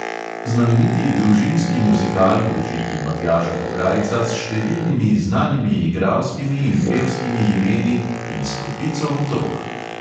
Znameniti družinski muzikal v režiji matjaža pograjca, s številnimi znanimi igralskimi in pevskimi imeni in s kopico otrok!